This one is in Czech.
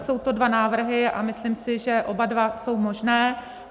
Jsou to dva návrhy a myslím si, že oba dva jsou možné.